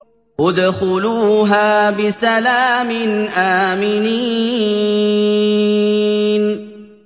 ادْخُلُوهَا بِسَلَامٍ آمِنِينَ